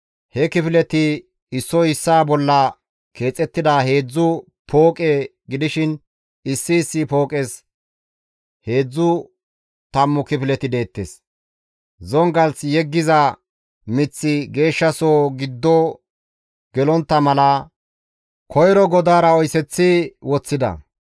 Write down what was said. He kifileti issoy issaa bolla keexettida heedzdzu pooqe gidishin issi issi pooqes heedzdzu tammu kifileti deettes. Zongalth yeggiza miththi Geeshshasohoza giddo gelontta mala, koyro godaara oyseththi woththida.